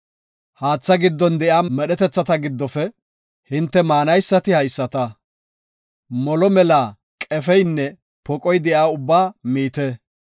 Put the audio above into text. Haatha giddon de7iya medhetethata giddofe hinte maanaysati haysata; molo mela qefeynne poqoy de7iya ubbaa miite.